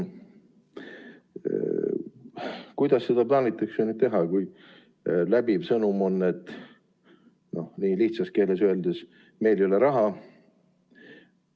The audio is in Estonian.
Kuidas seda plaanitakse teha, kui läbiv sõnum on, no lihtsas keeles öeldes, et meil ei ole raha.